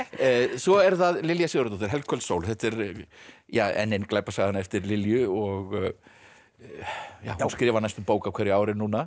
svo er það Lilja Sigurðardóttir sól þetta er enn ein glæpasagan eftir Lilju og hún skrifar næstum bók á hverju ári núna